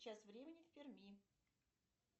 сейчас времени в перми